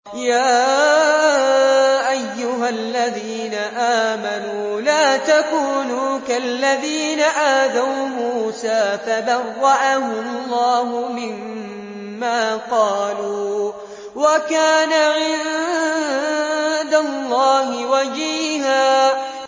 يَا أَيُّهَا الَّذِينَ آمَنُوا لَا تَكُونُوا كَالَّذِينَ آذَوْا مُوسَىٰ فَبَرَّأَهُ اللَّهُ مِمَّا قَالُوا ۚ وَكَانَ عِندَ اللَّهِ وَجِيهًا